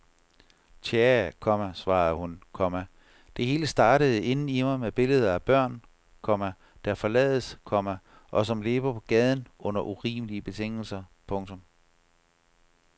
Tjae, komma svarede hun, komma det hele startede inden i mig med billeder af børn, komma der forlades, komma og som lever på gaden under urimelige betingelser. punktum